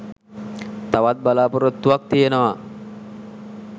තවත් බලාපොරොත්තුවක් තියෙනවා